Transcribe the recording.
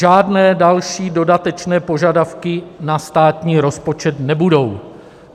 Žádné další dodatečné požadavky na státní rozpočet nebudou.